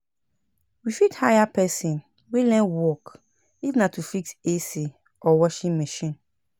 We fit hire person wey learn work if na to fix AC or Washing machine